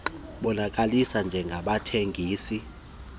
bonakaliswe njengabathengisi bemizimba